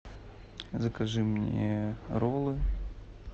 закажи мне роллы